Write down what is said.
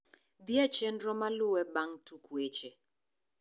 dhie chenro malue bang` tuk wech